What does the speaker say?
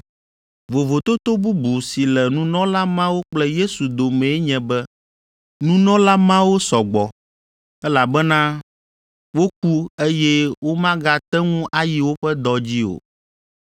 Vovototo bubu si le nunɔla mawo kple Yesu domee nye be nunɔla mawo sɔ gbɔ, elabena woku eye womagate ŋu ayi woƒe dɔ dzi o,